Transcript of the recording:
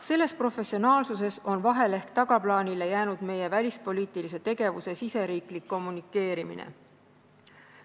Selles professionaalsuses on vahel ehk tagaplaanile jäänud meie välispoliitilise tegevuse riigisisene kommunikeerimine.